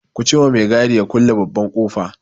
Ku ce ma mai gadi ya kulle babban ƙofa!